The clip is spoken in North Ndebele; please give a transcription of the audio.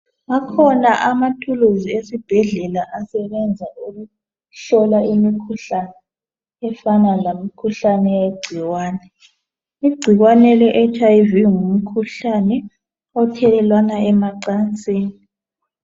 Akhona amathulisi esibhedlela asenza ukuhlola imikhuhlane efana lemikhuhlane yegcikwane igcikwane ngumkhuhlane we HIV othelelwana emancasini